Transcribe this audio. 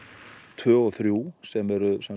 tvö og þrjú sem er